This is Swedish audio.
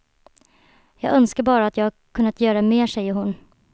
Jag önskar bara att jag kunnat göra mer, säger hon.